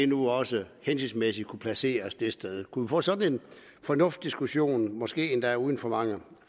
nu også hensigtsmæssigt kunne placeres det sted kunne vi få sådan en fornuftsdiskussion måske endda uden for mange